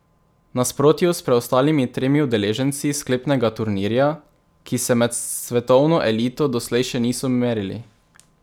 V nasprotju s preostalimi tremi udeleženci sklepnega turnirja, ki se med svetovno elito doslej še niso merili.